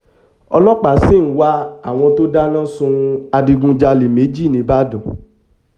ọlọ́pàá sì ń wá àwọn tó dáná sun adigunjalè méjì ńìbàdàn